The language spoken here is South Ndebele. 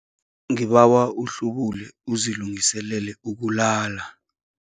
Ngibawa uhlubule uzilungiselele ukulala.